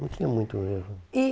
Não tinha muito mesmo. E